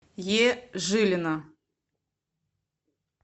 е жилина